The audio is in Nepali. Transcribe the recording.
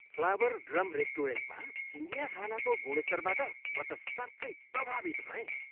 फ्लावर ड्रम रेस्टुरेन्टमा चिनियाँ खानाको गुणस्तरबाट म त साँच्चै प्रभावित भएँ।